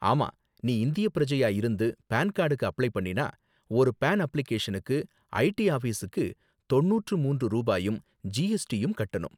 ஆமா, நீ இந்தியப் பிரஜையா இருந்து பான் கார்டுக்கு அப்ளை பண்ணினா, ஒரு பான் அப்ளிகேஷனுக்கு ஐடி ஆஃபிஸுக்கு தொண்ணூற்று மூன்று ரூபாயும் ஜிஎஸ்டியும் கட்டணும்.